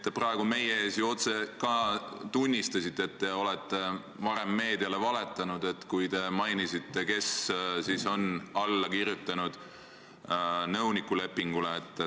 Te praegu meie ees ka tunnistasite, et te olete varem meediale valetanud, kui te mainisite, kes siis nõuniku lepingule alla kirjutas.